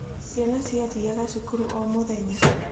Ciana ciathiaga cukuru o mũthenya.